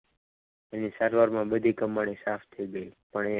તેની સારવારમાં બધી કમાણી સાફ થઈ ગઈ પણ એ